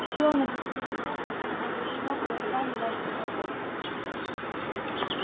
всё оно до последней капли было поглощено глотками наших врагов